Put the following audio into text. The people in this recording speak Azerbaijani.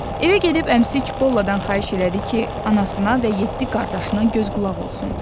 Evə gedib əmisi Çipolladan xahiş elədi ki, anasına və yeddi qardaşına göz-qulaq olsun.